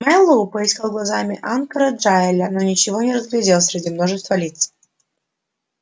мэллоу поискал глазами анкора джаэля но ничего не разглядел среди множества лиц